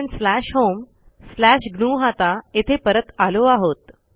आपणslash home slash ग्नुहता येथे परत आलो आहोत